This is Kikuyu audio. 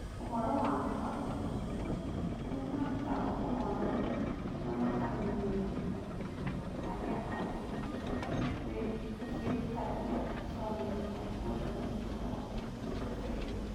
Ũhoro wa Mũbango ũcio, Arĩa Marutagwo Ũhoro na Makamenyereria Arĩa Angĩ, Kĩruta kĩa Tusome kĩa Programu cia kompiuta cia Bũrũri